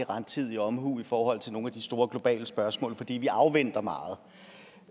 rettidige omhu i forhold til nogle af de store globale spørgsmål fordi vi afventer meget